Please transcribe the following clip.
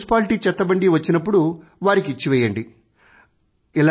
పొద్దుట మున్సిపాలిటి చెత్తబండి వచ్చినప్పుడు వారికి ఇచ్చివేయండి